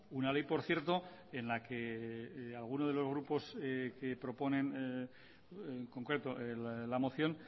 una ley por cierto en la que alguno de los grupos que proponen en concreto la moción